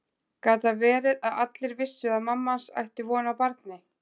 Gat það verið að allir vissu að mamma hans ætti von á barni?